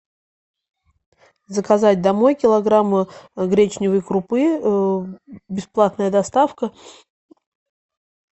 заказать домой килограмм гречневой крупы бесплатная доставка